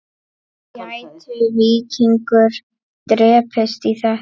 Gæti Víkingur dregist í þetta?